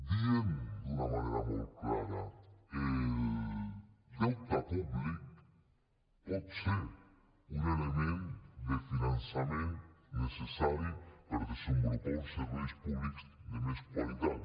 diem d’una manera molt clara el deute públic pot ser un element de finançament necessari per desenvolupar uns serveis públics de més qualitat